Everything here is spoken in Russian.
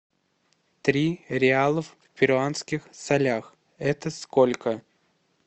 три реалов в перуанских солях это сколько